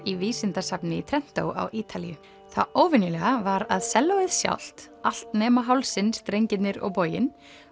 í vísindasafni í á Ítalíu það óvenjulega var að sellóið sjálft allt nema hálsinn strengirnir og boginn